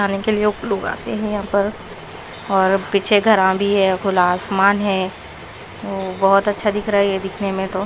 आने के लिए लोग आते हैं यहां पर और पीछे घरा भी है खुला आसमान है बहुत अच्छा दिख रहा है ये दिखने में तो--